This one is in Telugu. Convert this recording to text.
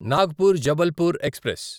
నాగ్పూర్ జబల్పూర్ ఎక్స్ప్రెస్